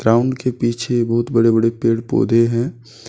Town के पीछे बहुत बड़े-बड़े पेड़ पौधे हैं।